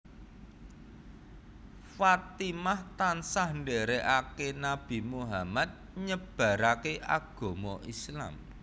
Fatimah tansah ndèrèkaké Nabi Muhammad nyebaraké agama Islam